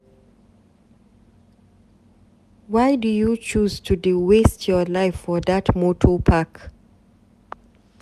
Why you choose to dey waste your life for dat moto park?